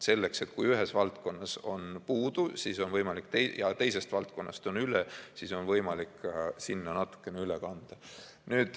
Selleks, et kui ühes valdkonnas on puudu ja teises valdkonnas on üle, siis on võimalik sinna natukene üle kanda.